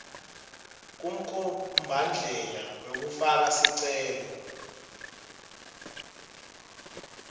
kumkhombandlela wekufaka sicelo